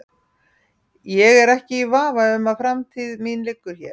Ég er ekki í vafa um að framtíð mín liggur hér.